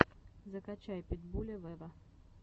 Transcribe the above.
закачай питбуля вево